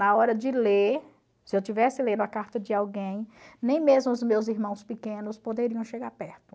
Na hora de ler, se eu estivesse lendo a carta de alguém, nem mesmo os meus irmãos pequenos poderiam chegar perto.